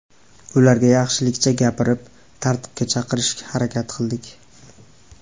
Ularga yaxshilikcha gapirib, tartibga chaqirishga harakat qildik.